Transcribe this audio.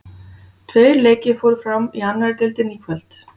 Tveir leikir fóru fram í annari deildinni í kvöld.